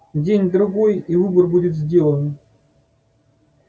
день-другой и выбор будет сделан